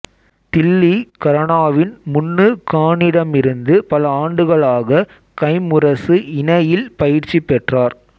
தில்லி கரனாவின் முன்னு கானிடமிருந்து பல ஆண்டுகளாக கைம்முரசு இணையில் பயிற்சி பெற்றார்